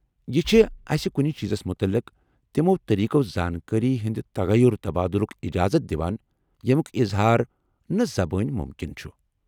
یہٕ چھ اسہِ كُنہِ چیزس مُتعلق تِمو طریقو زانكٲری ہندِ تغیر تبادُلُك اِجازت دِوان یمُیٚك اظہار نہٕ زبٲنۍ مُمكِن چُھ۔